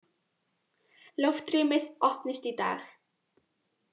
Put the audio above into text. Loftrýmið opnist í dag